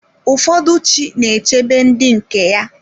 Ụfọdụ chi na-echebe ndị nke ya.